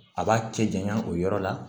A b'a cɛ janya o yɔrɔ la